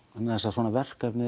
svona verkefni